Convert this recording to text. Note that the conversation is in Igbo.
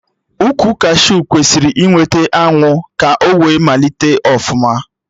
Ukwu kashiu kwesịrị ị nweta anwụ ka o wee malite ọfụma